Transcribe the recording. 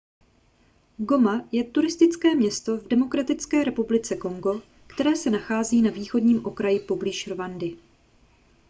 goma je turistické město v demokratické republice kongo které se nachází na východním okraji poblíž rwandy